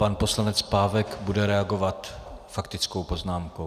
Pan poslanec Pávek bude reagovat faktickou poznámkou.